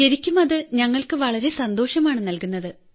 ശരിക്കും അത് ഞങ്ങൾക്ക് വളരെ സന്തോഷമാണ് നല്കുന്നത്